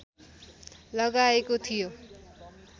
लगाएको थियो